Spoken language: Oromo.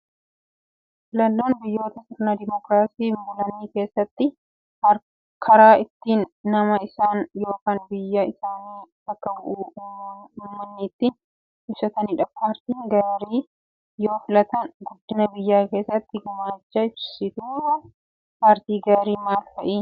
Filannoon biyyoota sirna dimookiraasiin bulan keessatti karaa ittiin nama isaan yookaan biyyaa isaanii bakka bu'u uummanni ittiin ibsatanidha. Paartii gaarii yoo filatan guddina biyyaa keessatti gumaacha. Ibsituuwwan paartii gaarii maal fa'ii?